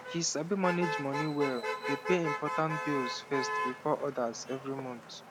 she sabi manage money well dey pay important bills first before others every month